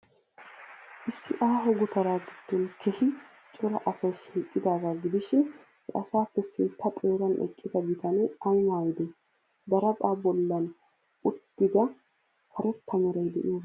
Issi aaho gutaraa giddon keehi cora asay shiiqidaagaa gidishin, he asaappe sintta xeeran eqqida bitanee ay maaydee? Daraphphaa bollan uttida karetta meray de'iyoobay aybee?